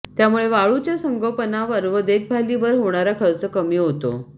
त्यामुळे वाळूच्या संगोपनावर व देखभालीवर होणारा खर्च कमी होतो